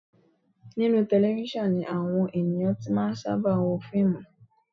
Inú tẹlefísọ̀n ni àwọn ènìyàn ti máa ń sábà wo fíìmù